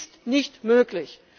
Es ist nicht möglich!